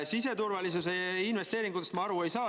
Siseturvalisuse investeeringutest ma aru ei saa.